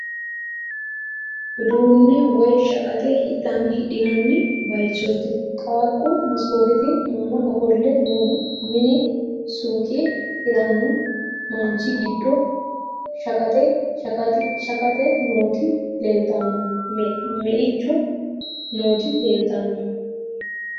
Uddune woyi shaqqaxe hidhinani bayichotti qaaqqu masikkotte Anna ofole noohu, minne suuqe hirranno manichi giddono shaqqaxxe nooti leelitanno meichono nooti leelitanno